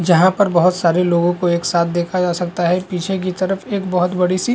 जहाँ पर बहुत सारे लोगों को एक साथ देखा जा सकता है पीछे की तरफ एक बहुत बड़ी सी --